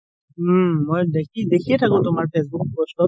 উম মই দেখি দেখিয়ে থাকো তুমাৰ ফেচবুক post ত